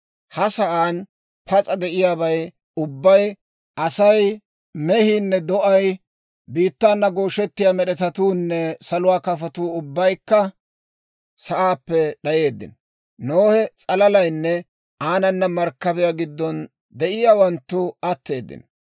Ha sa'aan pas'a de'iyaabay ubbay: asay, mehiinne do'ay, biittaana gooshettiyaa med'etatuunne saluwaa kafotuu ubbaykka sa'aappe d'ayeeddino. Nohe s'alalaynne aanana markkabiyaa giddon de'iyaawanttu atteeddino.